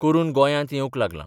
करून गोंयांत येवंक लागलां.